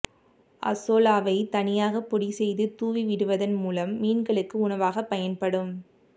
அசோலாவைத் தனியாக பொடி செய்து தூவிவிடுவதன் மூலம் மீன்களுக்கு உணவாகப் பயன்படும்